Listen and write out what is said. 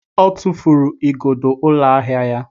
Ọ tụfuru igodo ụlọ ahịa ya.